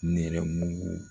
Nɛrɛmugu